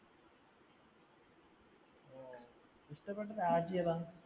ഇഷ്ടപ്പെട്ട രാജ്യമേതാ?